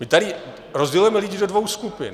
My tady rozdělujeme lidi do dvou skupin.